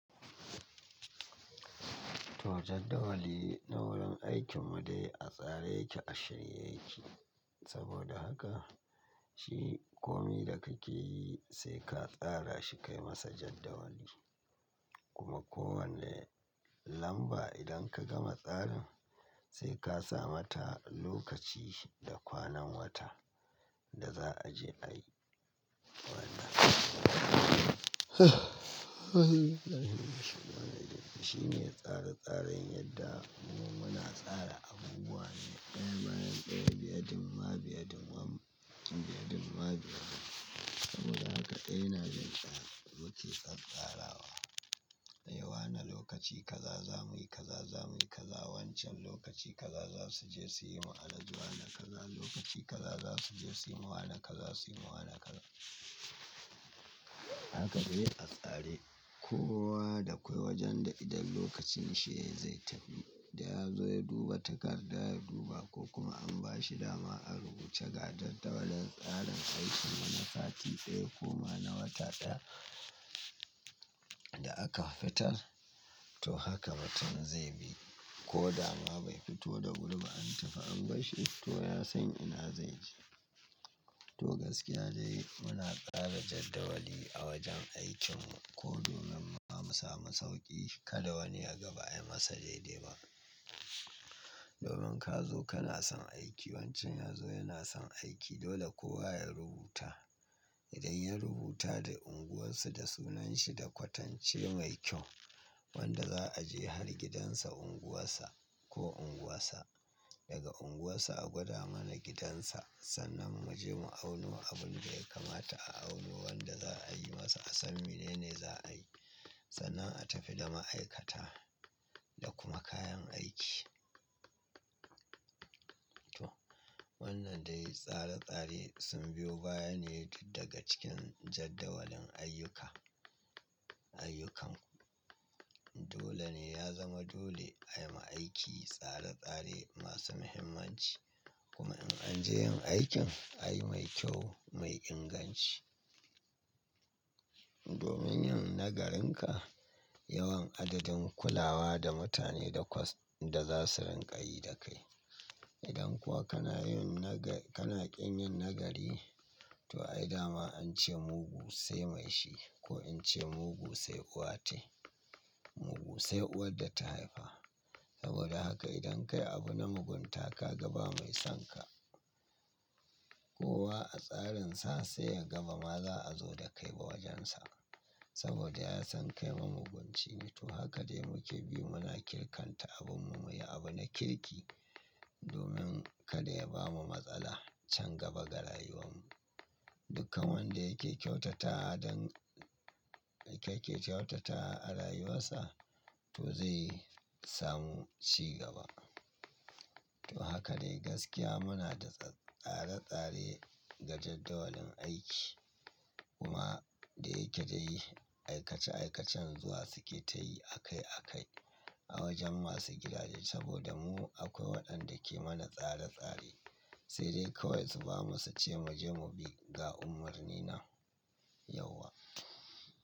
To jadawali na wurin aikin mu dai a tsare yake a shirye yake. Saboda haka shi komi da kake yi sai ka tsara shi kai masa jadawali. Kuma kowane lamba idan ka gama tsarin sai ka sa mata lokaci da kwanan wata da za a je ayi. Wannan shine tsare tsaren yadda mu muna tsara abubuwan daya bayan daya, biyadum ma biyadum biyadum biya dum. Saboda haka daya na jin tsara. Mu ke tsatsarawa. Eh wani lokaci kaza za muyi kaza za muyi kaza. Wancan lokaci kaza za su je su yi ma Alhaji Wani kaza lokaci kaza za su je su yi. Wannan kaza. Wane kaza Haka dai a tsare. Kowa da akwai wajen da idan lokacin shi zai tafi da ya zo ya duba takarda ya duba ko kuma an ba shi dama a rubuce ga jadawalin tsarin aikin wani sati daya ko ma na wata daya da aka fitar to haka mutum zai bi. Ko dama bai fito da wuri ba an tafi an barshi to ya san ina zai je. To gaskiya dai muna tsara jadawali a wajen aikin mu. Ko domin ma mu samu sauƙi kada wani yaga ba ayi masa daidai ba. Domin ka zo kana son aiki wancan ya zo yana son aiki dole kowa ya rubuta. Idan ya rubuta da unguwarsu da sunanshi da kwatance mai kyau wanda za a je har gidansa unguwarsa ko unguwarsa daga unguwarsa a gwada mana gidansa sannan mu je mu auno abin da ya kamata a auno wanda za a yi masa. A san mene ne za a yi sannan a tafi da ma'aikata da kuma kayan aiki. To wannan dai tsare tsare sun biyo baya ne tun daga cikin jadawalin ayyuka ayyukanku. Dole ne ya zama dole ayi ma aiki tsare tsare masu muhimmanci kuma in an je yin aikin ayi mai kyau mai inganci. Domin yin nagarin ka yawan adadin kulawa da mutane da za su rinƙayi da kai. Idan kuwa kana yin naka kana ƙin yin nagari to ai dama an ce mugu sai mai shi ko in ce mugu sai uwa tai. Mugu sai uwar da ta haifa. Saboda haka idan ka yi abu na mugunta ka gaba mai son ka, kowa a tsarin sa sai ya gaba ma za a zo da kai wa wajen sa. Saboda ya san kai ma mugun cine. To haka dai muke bi muna kirkanta abin mu muyi abu na kirki domin kada ya bamu matsala can gaba ga rayuwar mu. Dukkan wanda yake kyautata wa don yake kyautata a rayuwar sa to zai samu ci gaba. To haka dai gaskiya muna da tsare tsare ga jadawalin aiki kuma da yake dai aikace aikacen zuwa suke ta yi a kai a kai a wajen masu gidaje saboda mu akwai waɗanda ke mana tsare tsare sai dai kawai su bamu su ce mu je mu bi ga umarni nan, yauwa.